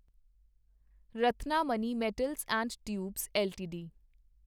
Ratnamani metals and tubes LTD